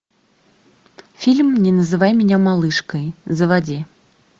фильм не называй меня малышкой заводи